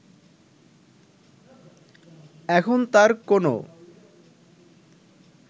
এখন তার কোন